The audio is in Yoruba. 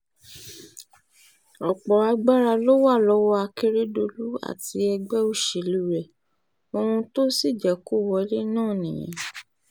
ọ̀pọ̀ agbára ló wà lọ́wọ́ akérédọ́lù àti ẹgbẹ́ òṣèlú rẹ̀ ohun tó sì jẹ́ kó wọlé náà nìyẹn